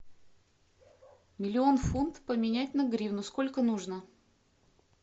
миллион фунт поменять на гривну сколько нужно